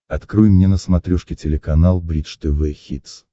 открой мне на смотрешке телеканал бридж тв хитс